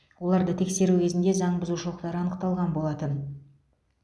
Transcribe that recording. оларды тексеру кезінде заң бұзушылықтар анықталған болатын